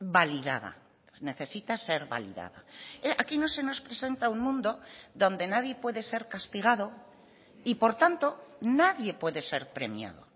validada necesita ser validada aquí no se nos presenta un mundo donde nadie puede ser castigado y por tanto nadie puede ser premiado